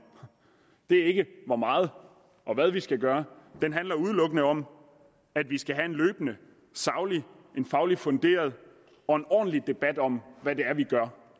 er ikke hvor meget og hvad vi skal gøre den handler udelukkende om at vi skal have en løbende saglig faglig funderet og ordentlig debat om hvad det er vi gør